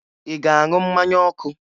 Ị na-aṅụ mmanya ọkụ?